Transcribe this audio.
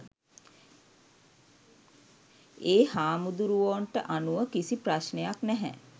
ඒ හමුදුරෝවොන්ට අනුව කිසි ප්‍රශ්නයක් නැහැ